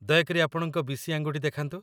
ଦୟାକରି ଆପଣଙ୍କ ବିଶି ଆଙ୍ଗୁଠି ଦେଖାନ୍ତୁ